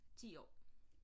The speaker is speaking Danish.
10 år